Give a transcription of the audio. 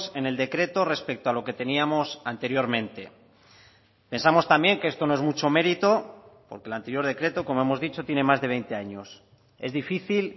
en el decreto respecto a lo que teníamos anteriormente pensamos también que esto no es mucho mérito porque el anterior decreto como hemos dicho tiene más de veinte años es difícil